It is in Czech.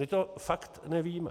My to fakt nevíme.